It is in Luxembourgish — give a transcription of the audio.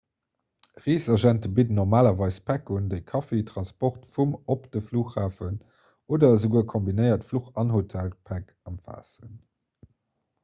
reesagente bidden normalerweis päck un déi kaffi transport vum/op de flughafen oder esouguer kombinéiert fluch- an hotelpäck ëmfaassen